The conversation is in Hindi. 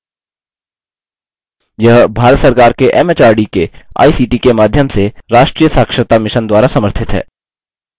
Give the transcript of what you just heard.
यह भारत सरकार के एमएचआरडी के आईसीटी के माध्यम से राष्ट्रीय साक्षरता mission द्वारा समर्थित है